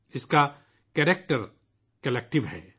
اس کا کریکٹر اجتماعی ہے